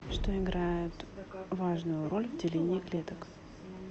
что играет важную роль в делении клеток